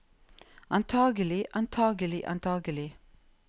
antagelig antagelig antagelig